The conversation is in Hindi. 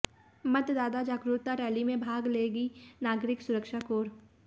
मतदाता जागरुकता रैली में भाग लेगी नागरिक सुरक्षा कोर